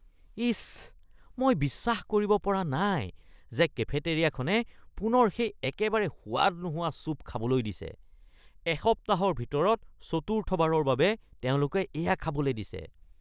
ইচ, মই বিশ্বাস কৰিব পৰা নাই যে কেফেটেৰিয়াখনে পুনৰ সেই একেবাৰে সোৱাদ নোহোৱা চুপ খাবলৈ দিছে। এসপ্তাহৰ ভিতৰত চতুৰ্থবাৰৰ বাবে তেওঁলোকে এয়া খাবলৈ দিছে।